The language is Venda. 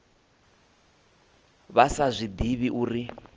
vha sa zwi ḓivhi uri